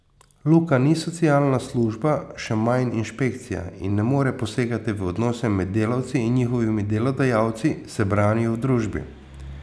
Luka ni socialna služba, še manj inšpekcija, in ne more posegati v odnose med delavci in njihovimi delodajalci, se branijo v družbi.